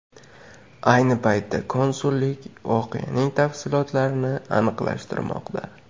Ayni paytda konsullik voqeaning tafsilotlarini aniqlashtirmoqda.